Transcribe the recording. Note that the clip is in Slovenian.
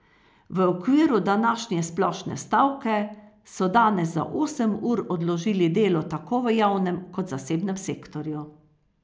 V okviru današnje splošne stavke so danes za osem ur odložili delo tako v javnem kot zasebnem sektorju.